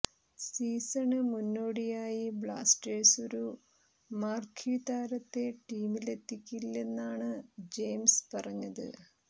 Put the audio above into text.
season മുന്നോടിയായി Blasters ഒരു marquee താരത്തെ ടീമിലെത്തിക്കില്ലെന്നാണ് ജെയിംസ് പറഞ്ഞത്